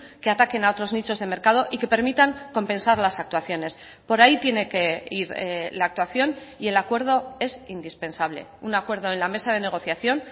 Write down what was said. que ataquen a otros nichos de mercado y que permitan compensar las actuaciones por ahí tiene que ir la actuación y el acuerdo es indispensable un acuerdo en la mesa de negociación